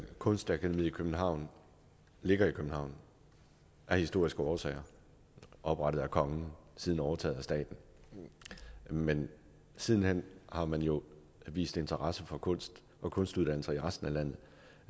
kunstakademiet i københavn ligger i københavn af historiske årsager oprettet af kongen siden overtaget af staten men siden hen har man jo vist interesse for kunst og kunstdannelser i resten af landet